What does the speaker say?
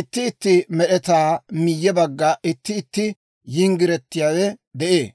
itti itti med'etaa miyye bagga itti itti yinggiretiyaawe de'ee.